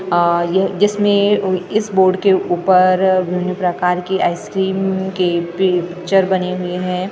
आ ये जिसमें इस बोर्ड के ऊपर विभिन्न प्रकार के आइसक्रीम के पिक्चर बने हुए हैं साथ में --